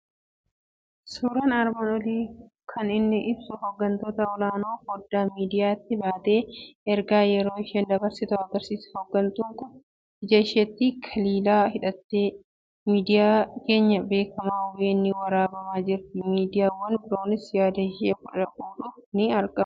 Suuraan armaan olii kan inni ibsu hooggantuu olaanaan foddaa miidiyaatti baatee ergaa yeroo isheen dabarsitu agarsiisa. Hooggantuun kun ija isheetti kilaala godhattee miidiyaa keenya beekamaa OBN'n waraabamaa jirti. Miidiyaawwan biroonis yaada ishee fuudhuuf ni argamu.